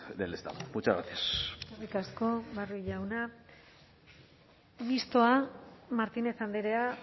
del estado muchas gracias eskerrik asko barrio jauna mixtoa martínez andrea